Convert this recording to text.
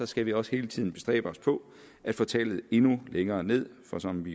skal vi også hele tiden bestræbe os på at få tallet endnu længere ned for som vi